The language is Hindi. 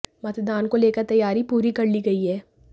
मतदान को लेकर तैयारी पूरी कर ली गई है